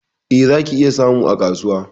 Eh, zaki iya samu a kasuwa